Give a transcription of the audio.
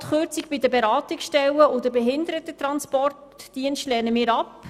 Auch die Kürzung bei den Beratungsstellen und beim Behindertentransportdienst lehnen wir ab.